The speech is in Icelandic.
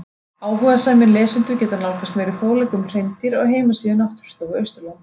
Áhugasamir lesendur geta nálgast meiri fróðleik um hreindýr á heimasíðu Náttúrustofu Austurlands.